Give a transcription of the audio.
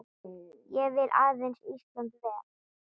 Ég vil aðeins Íslandi vel.